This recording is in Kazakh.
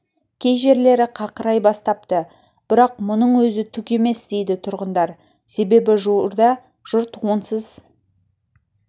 кей жерлері қақырай бастапты бірақ мұның өзі түк емес дейді тұрғындар себебі жуырда жұрт онсыз